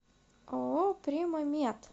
ооо прима мед